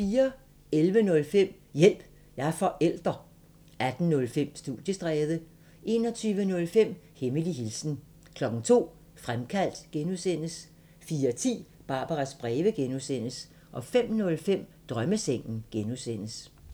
11:05: Hjælp – jeg er forælder 18:05: Studiestræde 21:05: Hemmelig hilsen 02:00: Fremkaldt (G) 04:10: Barbaras breve (G) 05:05: Drømmesengen (G)